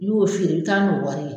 N'i y'o feere i bɛ taa n'o wari ye